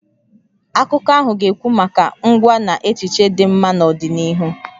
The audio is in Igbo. Akụkọ ahụ ga-ekwu maka ngwa na echiche dị mma n'ọdịnihu.